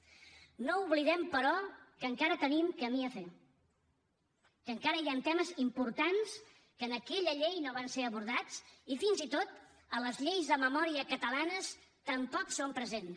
no oblidem però que encara tenim camí a fer que encara hi han temes importants que en aquella llei no van ser abordats i fins i tot a les lleis de memòria catalanes tampoc hi són presents